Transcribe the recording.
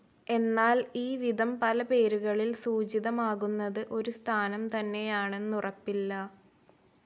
എന്നാൽ ഈവിധം പല പേരുകളിൽ സൂചിതമാകുന്നത് ഒരു സ്ഥാനം തന്നെയാണെന്നുറപ്പില്ല.